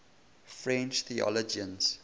french theologians